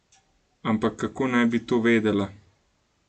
Ampak kako bi naj to vedela?